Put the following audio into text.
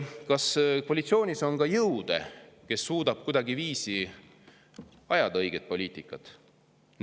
Kas koalitsioonis on ka jõude, kes suudavad kuidagiviisi ajada õiget poliitikat?